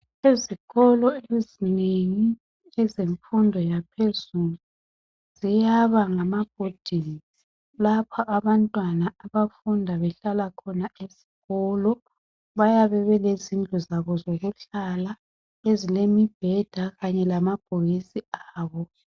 Ezikolo ezinengi ezemfundo yaphezulu ziyaba ngama boarding, lapha abantwana abafunda behlala khona esikolo. Bayabe belezindlu zabo zokuhlala, ezilemibheda kanye lamabhokisi abo.